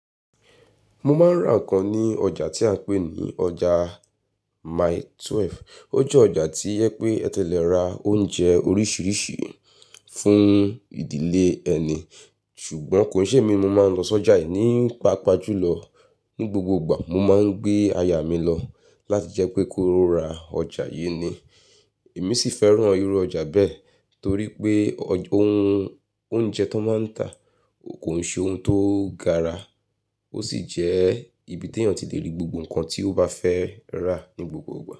Mo máa ń rà nǹkan ní ọjà tí a ń pè ní ọjà Mile 12. Ó jẹ́ ọjà tí ẹ pé ẹ ti lè ra oúnjẹ oríṣiríṣi fún ìdílé ẹni. Ṣùgbọ́n, kò n ṣe mi mo máa ń lọ sọ́jà yìí ní paapaa jù lọ. Ní gbogbo ìgbà, mo máa ń gbé aya mi lọ láti jẹ́ pé kó ra ọjà yi ni. Èmi sì fẹ́ràn irú ọjà bẹ́ẹ̀ torí pé, ohun oúnjẹ tó máa ń ta kò ṣe ohun tó gara. Ó sì jẹ́ ibi tí èèyàn ti lè rí gbogbo nǹkan tí ó bá fẹ́ rà ní gbogbo ìgbà.